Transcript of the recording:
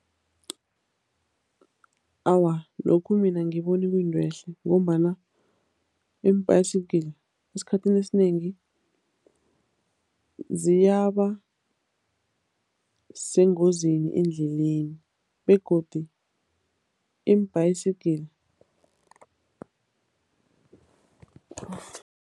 Awa, lokhu mina angiboni kuyinto ehle ngombana iim-bicycle esikhathini esinengi ziyaba sengozini endleleni begodi iim-bicycle.